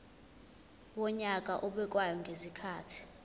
wonyaka obekwayo ngezikhathi